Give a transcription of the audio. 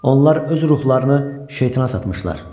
Onlar öz ruhlarını şeytana satmışlar.